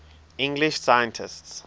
english scientists